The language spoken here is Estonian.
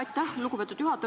Aitäh, lugupeetud juhataja!